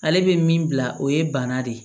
Ale bɛ min bila o ye bana de ye